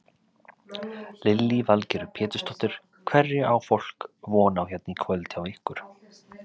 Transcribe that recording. Lillý Valgerður Pétursdóttir: Hverju á fólk von á hérna í kvöld hjá ykkur?